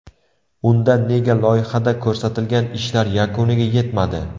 Unda nega loyihada ko‘rsatilgan ishlar yakuniga yetmadi?